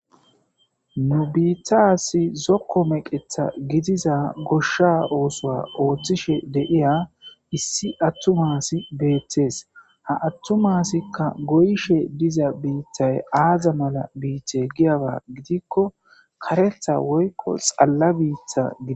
Nu biitas zooko mekeththa giddiza goshsha oththo oththishe deiya issi atuma asi bettes ha atuma assayka goyishshe diiza biitay aaza mala biite giyaba giidiko kareththa woykko xala biita gide.....